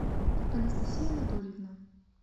анастасия анатольевна